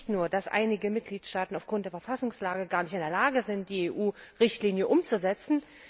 Nicht nur, dass einige Mitgliedstaaten aufgrund der Verfassungslage gar nicht in der Lage sind, die EU Richtlinie umzusetzen.